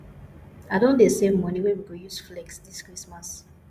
i don dey save moni wey we go use flex dis christmas